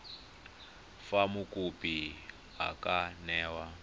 fa mokopi a ka newa